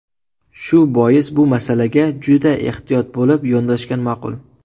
Shu bois bu masalaga juda ehtiyot bo‘lib yondoshgan ma’qul”.